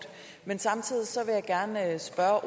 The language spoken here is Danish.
nej at der